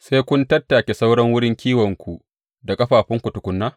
Sai kun tattake sauran wurin kiwonku da ƙafafunku tukuna?